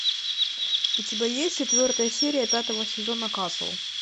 у тебя есть четвертая серия пятого сезона касл